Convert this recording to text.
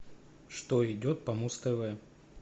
что идет по муз тв